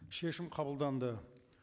шешім қабылданды